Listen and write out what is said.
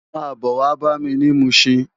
Má bò wá bámi ni Mushin